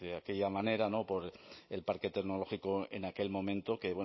aquella manera por el parque tecnológico en aquel momento que